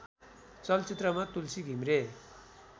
चलचित्रमा तुलसी घिमिरे